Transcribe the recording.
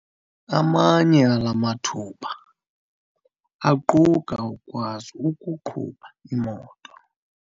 Amanye ala mathuba aquka ukukwazi ukuqhuba imoto.